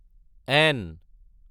N